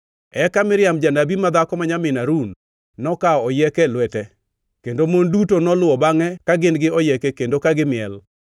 Eka Miriam janabi madhako ma nyamin Harun, nokawo oyieke e lwete kendo mon duto noluwo bangʼe ka gin gi oyieke kendo ka gimiel.